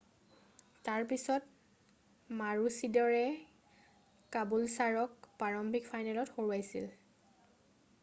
তাৰ পিছত মাৰোচিদৰে কাবুলছাৰক প্ৰাৰম্ভিক ফাইনেলত হৰুৱাইছিল